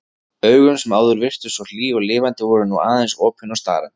Augun sem áður virtust svo hlý og lifandi voru nú aðeins opin og starandi.